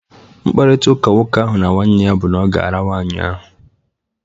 Mkparita ụka nwoke ahụ na nwanne ya bụ na oga ara nwaanyị ahụ.